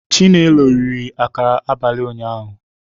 Chinelo rie akara abalị ụnyahụ